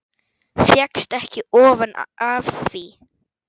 Fékkst ekki ofan af því.